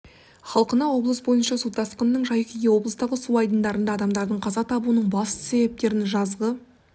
халқына облыс бойынша су тасқынының жай-күйі облыстағы су айдындарында адамдардың қаза табуының басты себептерін жазғы